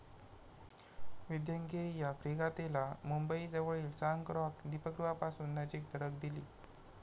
विंध्यगिरी या फ्रीगातेला मुंबई जवळील सांक रॉक दिपगृहापासून नजीक धडक दिली.